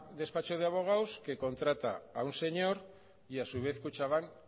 despacho de abogados que contrata a un señor y a su vez kutxabank